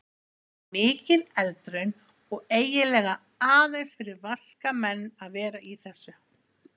Þetta var mikil eldraun og eiginlega aðeins fyrir vaska menn að vera í þessu.